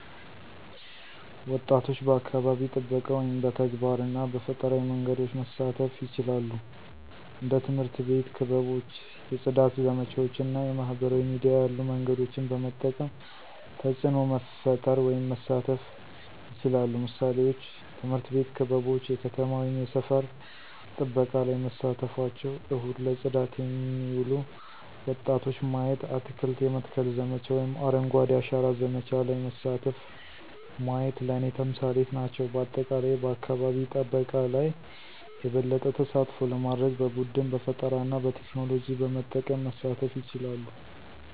ወጣቶች በአካባቢ ጥበቃ ውስጥ በተግባር እና በፈጠራዊ መንገዶች መሳተፉ ይችላሉ። እንደ ትምህርት አቤት ክበቦች የፅዳት ዘመቻዎች እና የማህበራዊ ሚዲያ ያሉ መንገዶችን በመጠቀም ተፅዕኖ መፈጠር ወይም መሳተፍ ይችላሉ። ምሳሌዎች፦ ትምህርት ቤት ክበቦች የከተማ ወይም የሰፈር ጥበቃ ላይ መሳተፍቸው፣ እሁድ ለጽዳት የሚሉ ወጣቶች ማየቲ፣ አትክልት የመትከል ዘመቻ ወይም አረንጓዴ አሻራ ዘመቻ ለይ መሳተፉ ማየት ለኔ ተምሳሌት ናቸው። በአጠቃላይ በአካባቢ ጠበቃ ለይ የበለጠ ተሳትፎ ለማድርግ በቡድን፣ በፈጠራና በቴክኖሎጂ በመጠቀም መሳተፍ ይቻላሉ።